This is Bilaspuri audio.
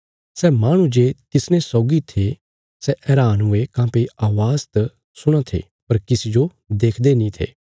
सै माहणु जे तिसने सौगी थे सै हैरान हुये काँह्भई अवाज़ त सुणां थे पर किसी जो देखदे नीं थे